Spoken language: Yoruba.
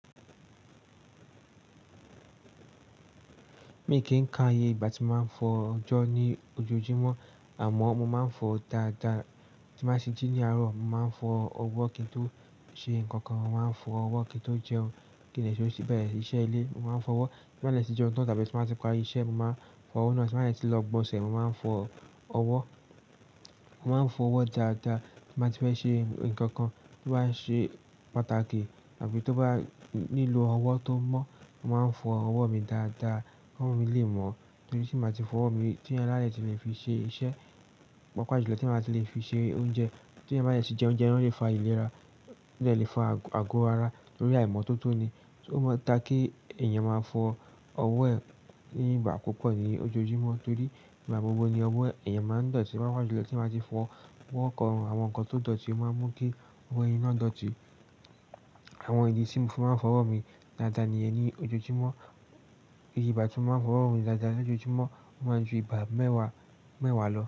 Mi kì í ka iye ìgbà tí mo máa ń fọ ọjọ́ ní ojoojúmọ́ àmọ́ mo máa ń fọ dáadáa. Tí mo bá ṣe jí ní àárọ̀, mo máa ń fọ ọwọ́ kí n tó ṣe nǹkan kan. Mo máa ń fọ ọwọ́ kí n tó jẹun, kí n lè ṣe bẹ̀rẹ̀ iṣẹ́ ilé. Mo máa ń fọ ọwọ́ tí mo bá dẹ̀ ti jẹun tán tàbí tí mo bá ti parí iṣẹ́, mo máa ń fọ ọwọ́ náà. Tí mo bá dẹ̀ tó lọ gbọ́nsẹ̀, mo máa ń fọ ọwọ́. Mo máa ń fọ ọwọ́ dáadáa tí mo bá ti fẹ́ ṣe nǹkan kan tó bá ṣe pàtàkì àbí tó bá nílò ọwọ́ tó mọ́. Mo máa ń fọ ọwọ́ mi dáadáa kí owò mí lè mọ́ torí tí mo ti máa fọ ọwọ́ mi tí ó yẹ láyè tí mo fi ṣe iṣẹ́, pàápàá julọ tí mo máa ti lè fi ṣe oúnjẹ tí èyàn bá de ti jẹ oúnjẹ, ó lè fa ìlera, ó dẹ̀ lè fa àgù ara torí àìmọ́tótó ni. Ó mọ ta kí èèyàn máa fọ ọwọ́ ẹ̀ ní ìgbà púpọ̀ ni ojoojúmọ́ torí ìgbà gbogbo ni ọwọ́ èèyàn máa ń dọ̀tí. Pàápàá julọ tí mo ti máa ti fọ ọwọ́ kan, àwọn nǹkan tó dọ̀tí máa mú kí ọwọ́ ẹni náà dọ̀tí. Àwọn ìdí tí mo fi máa ń fọ ọwọ́ mi dáadáa nìyẹn ní ojoojúmọ́. Ìgbà tí mo máa ń fọ ọwọ́ mi dáadáa ní ojoojúmọ́, ó máa ń ju ìgbà mẹ́wàá, mẹ́wàá lọ.